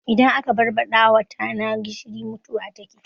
Idan aka barbaɗawa tana gishiri mutuwa take